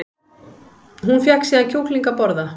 Hún fékk síðan kjúkling að borða